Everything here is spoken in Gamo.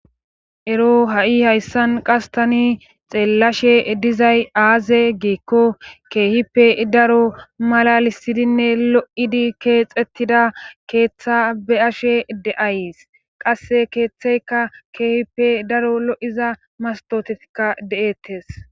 ero ha7i hayssan qastani xeellashe dizay aaze giikko keehippe daro malalisidinne lo7idi keexettida keeththe be ashe de7ays qasse keeththeyka keehippe daro lo7iza mastotekka de7ettes